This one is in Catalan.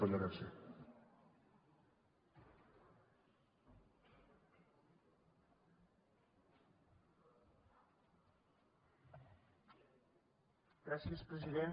gràcies president